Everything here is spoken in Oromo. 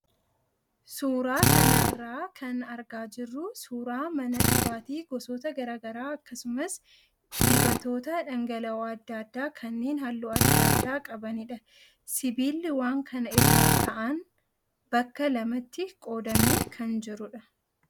Suuraa kanarraa kan argaa jirru suuraa mana dhugaatii gosoota graagaraa akkasumas dibatoota dhangal'oo adda addaa kanneen halluu adda addaa qabanidha. Sibiilli waan kana irra kaa'an bakka lamatti qoodamee kan jirudha.